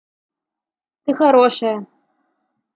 ты хорошая